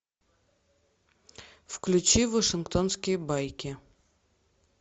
включи вашингтонские байки